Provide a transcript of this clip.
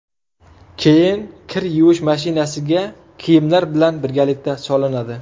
Keyin kir yuvish mashinasiga kiyimlar bilan birgalikda solinadi.